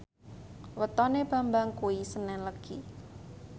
wetone Bambang kuwi senen Legi